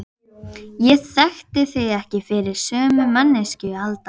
Hann jánkaði því, eiginkona sín væri af íslensku bergi brotin.